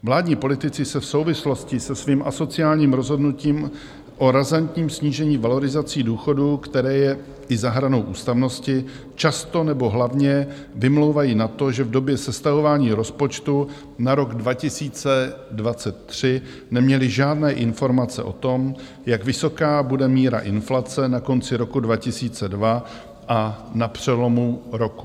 Vládní politici se v souvislosti se svým asociálním rozhodnutím o razantním snížení valorizací důchodů, které je i za hranou ústavnosti, často nebo hlavně vymlouvají na to, že v době sestavování rozpočtu na rok 2023 neměli žádné informace o tom, jak vysoká bude míra inflace na konci roku 2022 a na přelomu roku.